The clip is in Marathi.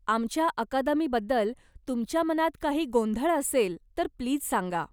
आमच्या अकादमीबद्दल तुमच्या मनात काही गोंधळ असेल तर प्लीज सांगा.